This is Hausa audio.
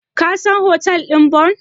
Ka san hotel ɗin Bon?